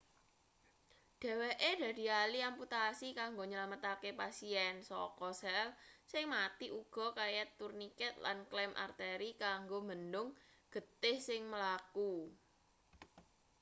dheweke dadi ahli amputasi kanggo nylametake pasien saka sel sing mati uga kaya turniket lan klem arteri kanggo mbendhung getih sing mlaku